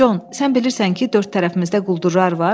Con, sən bilirsən ki, dörd tərəfimizdə quldurlar var.